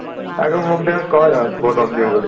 আকৌ মোক দেখোন কও দেখোন বৰ দম দিও বুলি